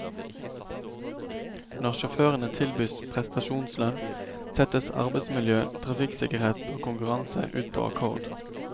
Når sjåførene tilbys prestasjonslønn, settes arbeidsmiljø, trafikksikkerhet og konkurranse ut på akkord.